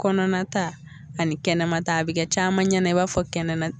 Kɔnɔna ta ani kɛnɛma ta a bɛ kɛ caman ɲɛnɛ i b'a fɔ kɛnɛna